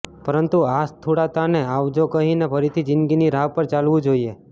પરંતુ આ સ્થૂળતાને આવજો કહીને ફરીથી જીંદગીની રાહ પર ચાલવું જોઈએ